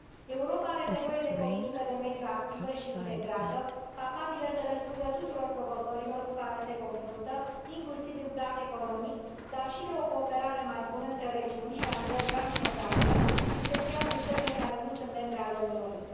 Europa are nevoie de politică de mediu activă și integrată, capabilă să răspundă tuturor provocărilor cu care se confruntă, inclusiv în plan economic, dar și de o cooperare mai bună între regiuni și la nivel transfrontalier, în special cu țările care nu sunt membre ale Uniunii.